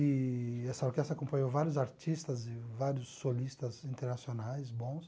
Eee essa orquestra acompanhou vários artistas e vários solistas internacionais bons.